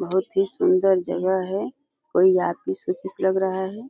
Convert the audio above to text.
बहोत ही सुन्दर जगह है और यहाँ पे सबकुछ लग रहा है।